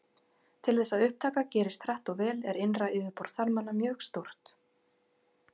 Til þess að upptaka gerist hratt og vel er innra yfirborð þarmanna mjög stórt.